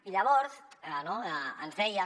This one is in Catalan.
i llavors ens deien